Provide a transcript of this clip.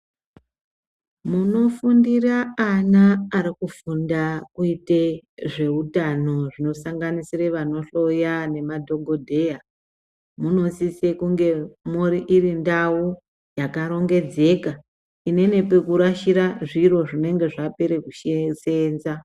Munofundira ana arikufundira kuita zveutano zvinosanganisira vanohloya nemadhokoteya munosisa kunge iri ndau yakarongedzeka ine pekurasira zviro zvinenge zvapera kuseenza .